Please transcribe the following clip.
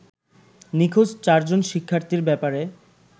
নিখোঁজ চারজন শিক্ষার্থীর ব্যাপারে